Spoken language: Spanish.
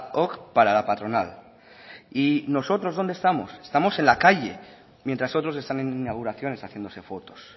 hoc para la patronal y nosotros dónde estamos estamos en la calle mientras otros están en inauguraciones haciéndose fotos